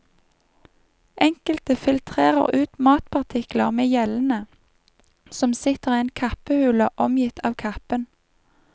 Enkelte filtrerer ut matpartikler med gjellene, som sitter i en kappehule omgitt av kappen.